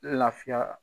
Lafiya